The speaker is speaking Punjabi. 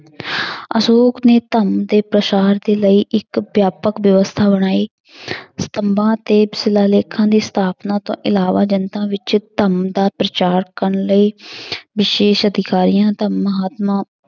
ਅਸ਼ੌਕ ਨੇ ਧੰਮ ਦੇ ਪ੍ਰਸਾਰ ਦੇ ਲਈ ਇੱਕ ਵਿਆਪਕ ਵਿਵਸਥਾ ਬਣਾਈ ਸਤੰਭਾ ਤੇ ਸਿਲਾਲੇਖਾਂ ਦੀ ਸਥਾਪਨਾ ਤੋਂ ਇਲਾਵਾ ਜਨਤਾ ਵਿੱਚ ਧਰਮ ਦਾ ਪ੍ਰਚਾਰ ਕਰਨ ਲਈ ਵਿਸ਼ੇਸ਼ ਅਧਿਕਾਰੀਆਂ ਦਾ